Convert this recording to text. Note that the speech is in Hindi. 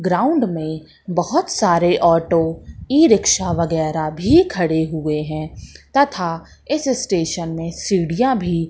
ग्राउंड में बहोत सारे ऑटो ई रिक्शा वगैरा भी खड़े हुए हैं तथा इस स्टेशन में सीढ़ियां भी--